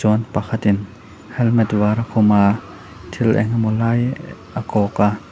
chuan pakhatin helmet var a khum a thil engemaw lai a kawk a.